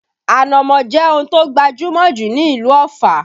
Ànámọ́ jẹ́ ohun tó gbajúmọ̀ jù ní ìlú Ọ̀fà